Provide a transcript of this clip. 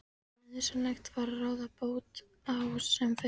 Eitthvað sem nauðsynlegt var að ráða bót á sem fyrst.